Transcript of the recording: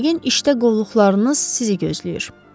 Yəqin işdə qovluqlarınız sizi gözləyir.